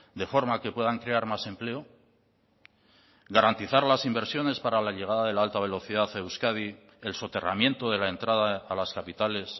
de forma que puedan crear más empleo garantizar las inversiones para la llegada de la alta velocidad a euskadi el soterramiento de la entrada a las capitales